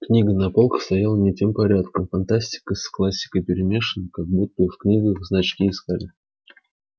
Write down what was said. книга на полках стояла не тем порядком фантастика с классикой перемешаны как будто и в книгах значки искали